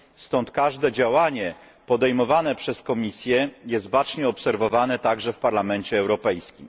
stąd każde działanie podejmowane przez Komisję jest bacznie obserwowane także w Parlamencie Europejskim.